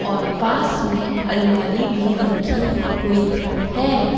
और पास में अलमारी भी रखी हुई है।